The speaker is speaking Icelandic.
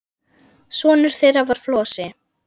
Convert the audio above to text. Sonur þeirra var Flosi.